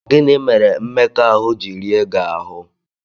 Gịnị mere mmekọahụ ji rie gị ahụ́?